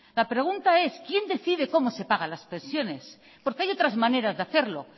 la pregunta es quién decide cómo se pagan las pensiones porque hay otras maneras de hacerlo